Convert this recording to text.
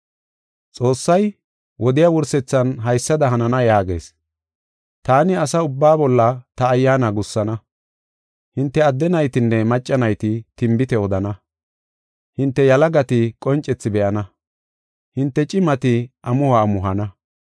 “ ‘Xoossay, wodiya wursethan haysada hanana yaagees: taani asa ubbaa bolla ta Ayyaana gussana. Hinte adde naytinne macca nayti, tinbite odana. Hinte yalagati qoncethi be7ana; hinte cimati amuho amuhana.